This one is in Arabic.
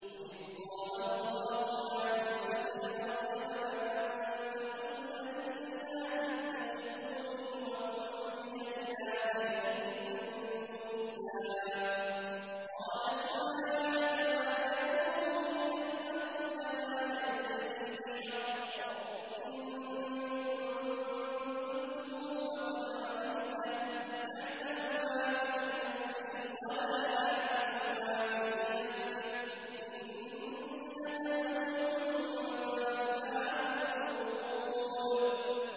وَإِذْ قَالَ اللَّهُ يَا عِيسَى ابْنَ مَرْيَمَ أَأَنتَ قُلْتَ لِلنَّاسِ اتَّخِذُونِي وَأُمِّيَ إِلَٰهَيْنِ مِن دُونِ اللَّهِ ۖ قَالَ سُبْحَانَكَ مَا يَكُونُ لِي أَنْ أَقُولَ مَا لَيْسَ لِي بِحَقٍّ ۚ إِن كُنتُ قُلْتُهُ فَقَدْ عَلِمْتَهُ ۚ تَعْلَمُ مَا فِي نَفْسِي وَلَا أَعْلَمُ مَا فِي نَفْسِكَ ۚ إِنَّكَ أَنتَ عَلَّامُ الْغُيُوبِ